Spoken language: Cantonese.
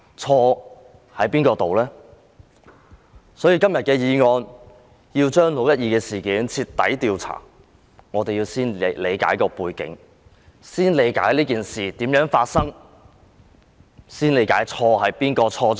今天這項議案要求就"六一二"事件進行徹底調查，我們要先理解它的背景，為何發生這事件，誰先犯錯。